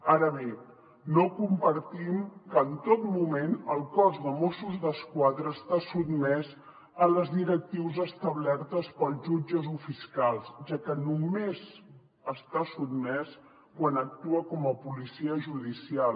ara bé no compartim que en tot moment el cos de mossos d’esquadra està sotmès a les directrius establertes pels jutges o fiscals ja que només està sotmès quan actua com a policia judicial